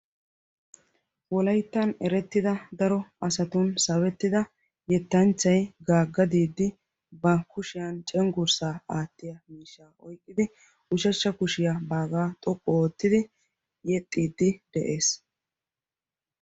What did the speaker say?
wolaittan erettida daro asatun sabettida yettanchchai gaagga diiddi ba kushiyan cenggurssaa aattiya miishsha oiqqidi ushashsha kushiyaa baagaa xoqqu oottidi yexxiiddi de7ees.